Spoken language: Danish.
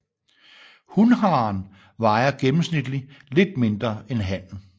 Hunharen vejer gennemsnitlig lidt mindre end hannen